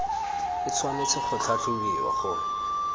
e tshwanetse go tlhatlhobiwa go